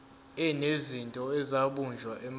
enezinto ezabunjwa emandulo